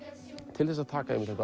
til þess að taka þetta